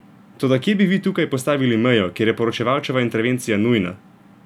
Toda, kje bi vi tukaj postavili mejo, kjer je poročevalčeva intervencija nujna?